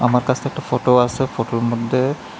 আকাশতে একটা ফোটো আসে ফোটোর মদ্যে--